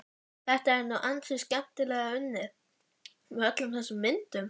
Þetta er nú ansi skemmtilega unnið, með öllum þessum myndum.